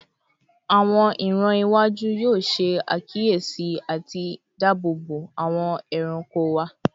Awọn iran iwaju yoo ṣe akiyesi ati daabobo awọn ẹranko wa